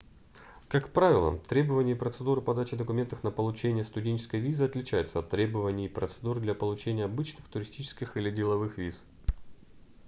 как правило требования и процедуры подачи документов на получение студенческой визы отличаются от требований и процедур для получения обычных туристических или деловых виз